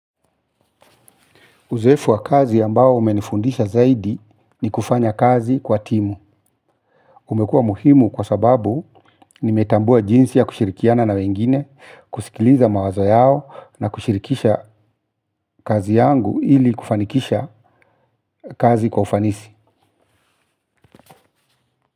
Uzoefu wa kazi ambao umenifundisha zaidi ni kufanya kazi kwa timu. Umekuwa muhimu kwa sababau nimetambua jinsi ya kushirikiana na wengine kusikiliza mawazo yao na kushirikisha kazi yangu ili kufanikisha kazi kwa ufanisi.